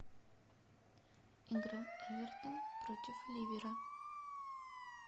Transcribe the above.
игра эвертон против ливера